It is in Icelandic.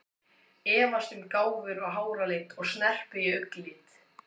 Efast um gáfur og háralit og snerpu og augnlit.